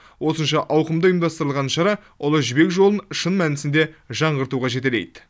осынша ауқымда ұйымдастырылған шара ұлы жібек жолын шын мәнісінде жаңғыртуға жетелейді